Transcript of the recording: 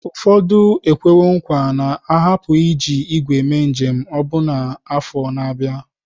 Ụfọdụ ekwewo nkwa na ha apụghị iji ígwè mee njem ọbụna n'afọ ndị na-abịa.